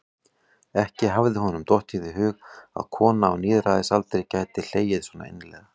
Ekki hafði honum dottið í hug að kona á níræðisaldri gæti hlegið svo innilega.